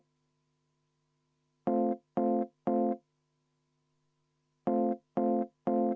Rene Kokk, palun!